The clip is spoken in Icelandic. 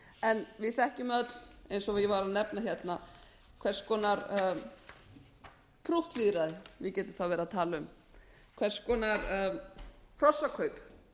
en við þekkjum öll eins og ég var að nefna hérna hvers konar prúttlýðræði við getum þá verið að tala um hvers konar hrossakaup